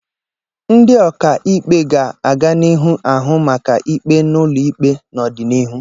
Ndị ọka ikpe ga-aganihu na-ahụ maka ikpe n'ụlọ ikpe n'ọdịnihu.